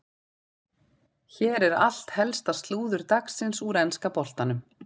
Hér er allt helsta slúður dagsins úr enska boltanum.